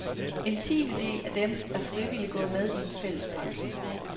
En tiendedel af dem er frivilligt gået med i en fælles pagt.